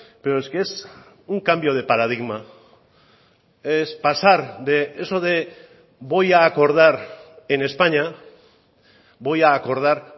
pero es que es un cambio de paradigma es pasar de eso de voy a acordar en españa voy a acordar